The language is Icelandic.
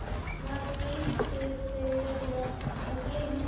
Hvað skyldu þau vera að gera núna?